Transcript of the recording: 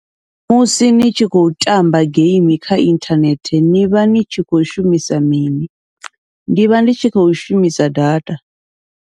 Musi ni tshi khou tamba geimi kha inthanethe nivha ni tshi khou shumisa mini, ndivha ndi tshi khou shumisa data.